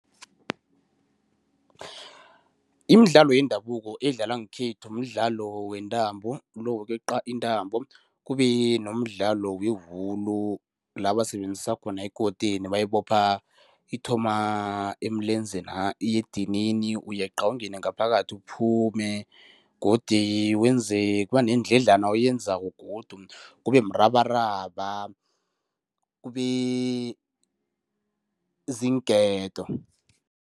Imidlalo yendabuko edlalwa ngekhethu mdlalo wentambo, lo wokweqa intambo. Kube nomdlalo wewulu, la basebenzisa khona ikoteni, bayibopha ithoma emilenzena, iye edinini, uyeqa, ungene ngaphakathi, uphume godi wenze kuba neendladlana oyenzako godu, kubemrabaraba kube ziinketo.